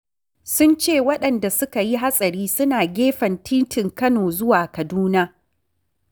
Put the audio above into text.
Sun ce waɗanda suka yi hatsari suna gefen titin Kano zuwa Kaduna.